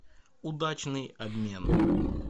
удачный обмен